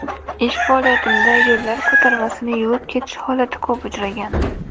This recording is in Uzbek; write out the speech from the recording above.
Ish faoliyatimda yo‘llar ko‘tarmasini yuvib ketish holati ko‘p uchragan.